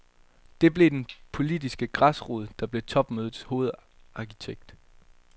Den blev den politiske græsrod, der blev topmødets hovedarkitekt.